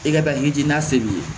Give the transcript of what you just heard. I ka hakilij'a se b'i ye